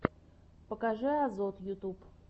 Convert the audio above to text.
покажи азот ютуб